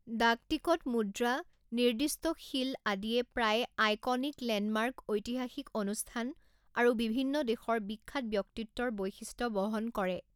ডাক টিকট মুদ্ৰা, নিৰ্দিষ্টশীল আদিয়ে প্ৰায়ে আইকনিক লেণ্ডমাৰ্ক ঐতিহাসিক অনুষ্ঠান আৰু বিভিন্ন দেশৰ বিখ্যাত ব্যক্তিত্বৰ বৈশিষ্ট বহন কৰে